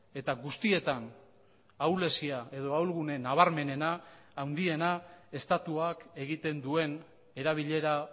eta guztietan ahulezia edo ahulgune nabarmenena handiena estatuak egiten duen erabilera